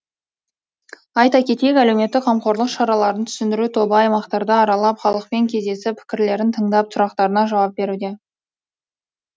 айта кетейік әлеуметтік қамқорлық шараларын түсіндіру тобы аймақтарды аралап халықпен кездесіп пікірлерін тыңдап сұрақтарына жауап беруде